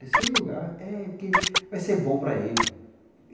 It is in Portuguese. Terceiro lugar é porque vai ser bom para ele.